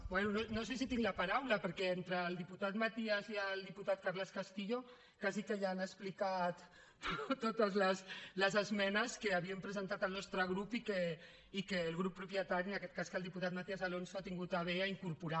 bé no sé si tinc la paraula perquè entre el diputat matías i el diputat carles castillo gairebé que ja han explicat totes les esmenes que havíem presentat el nostre grup i que el grup propietari en aquest cas el diputat matías alonso ha tingut a bé incorporar